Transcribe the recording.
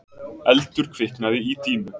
Eldur kviknaði í dýnu